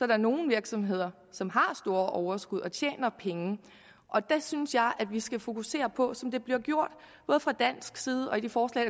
der nogle virksomheder som har store overskud og tjener penge og der synes jeg at vi skal fokusere på som det bliver gjort fra dansk side og i det forslag